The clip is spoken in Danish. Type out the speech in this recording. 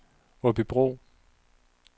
Aabybro